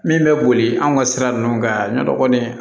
Min bɛ boli an ka sira ninnu kan yani kɔni